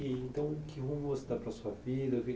Então, que rumo você dá para a sua vida? O que